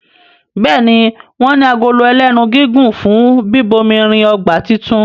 Béèni wón ní Agolo ẹlẹ́nu gígùn fún bíbomirin ọgbà títún.